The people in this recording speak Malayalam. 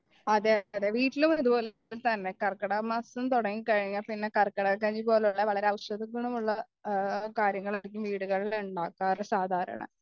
അതെ അതെ വീട്ടിലും അതുപോലെയൊക്കെത്തന്നെ കർക്കിടകമാസം തുടങ്ങിക്കഴിഞ്ഞാൽ പിന്നെ കർക്കിടക കഞ്ഞിപോലെയുള്ള വളരെ ഔഷധ ഗുണമുള്ള കാര്യങ്ങളായിരിക്കും വീടുകളിൽ ഉണ്ടാക്കാറ് സാധാരണ